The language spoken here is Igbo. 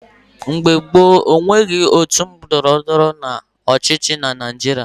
Mgbe gboo, e nweghị otu ndọrọndọrọ ọchịchị na Naijiria.